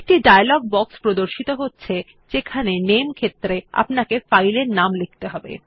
একটি dialog box প্রদর্শিত হচ্ছে যেখানে নামে ক্ষেত্র এ আপনাকে ফাইল এর নাম লিখতে হবে